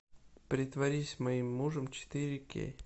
притворись моим мужем четыре кей